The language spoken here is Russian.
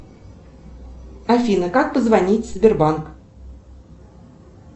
афина как позвонить в сбербанк